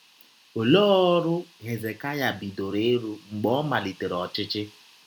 Ọlee ọrụ Hezekaya bidọrọ ịrụ mgbe ọ malitere ọchịchị?